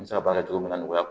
N bɛ se ka baara min na nɔgɔya